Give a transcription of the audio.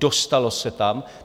Dostalo se tam.